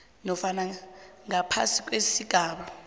nofana ngaphasi kwesigaba